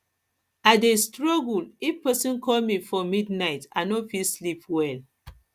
i dey struggle if person call me for midnight i no fit sleep well